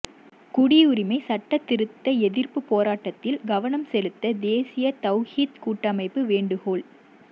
குடியுரிமைச் சட்டத் திருத்த எதிா்ப்பு போராட்டத்தில் கவனம் செலுத்த தேசிய தவ்ஹீத் கூட்டமைப்பு வேண்டுகோள்